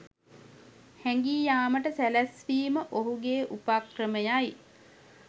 හැඟී යාමට සැළැස්වීම ඔහුගේ උපක්‍රමයයි